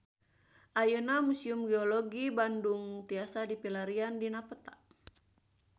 Ayeuna Museum Geologi Bandung tiasa dipilarian dina peta